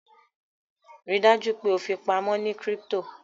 Ríi dájú pe o fipamọ ní crypto